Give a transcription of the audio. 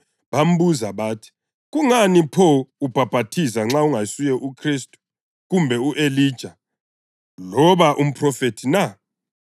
bambuza bathi, “Kungani pho ubhaphathiza nxa ungasuye uKhristu, kumbe u-Elija loba umphrofethi na?”